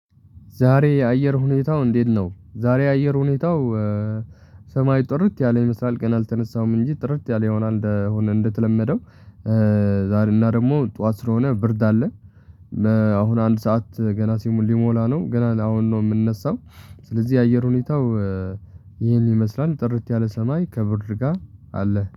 ዛሬ የአየር ሁኔታው እንዴት ነው? ዛሬ የአየር ሁኔታው ሰማይ ጥርት ያለ ይመስላል ቀን አልተነሳም እንጂ ጥርት ያለ ይሆናል እንደሆነ እንደተለመደው። ዛሬ እና ደግሞ ጠዋት ስለሆነ ብርድ አለ። አሁን አንድ ሰዓት ገና ሊሞላ ነው ገና አሁን ነው የምንነሳው። ስለዚህ የአየር ሁኔታው ይሄን ይመስላል ጥርት ያለ ሰማይ ከብርድ ጋር አለ